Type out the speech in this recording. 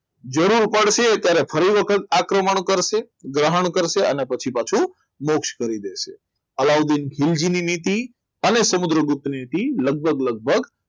જરૂર પડશે ત્યારે ફરી વખત આક્રમણ કરશે ગ્રહણ કરશે અને પછી પાછો મોક્ષ કરી દેશે હવે મોક્ષ નીતિ અને સમુદ્રગુપ્ત લગભગ લગભગ